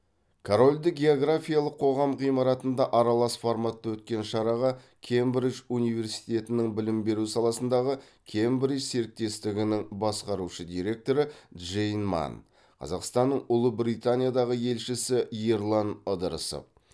корольді географиялық қоғам ғимаратында аралас форматта өткен шараға кембридж университетінің білім беру саласындағы кембридж серіктестігінің басқарушы директоры джейн манн қазақстанның ұлыбританиядағы елшісі ерлан ыдырысов